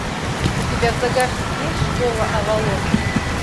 у тебя в загашнике есть школа авалон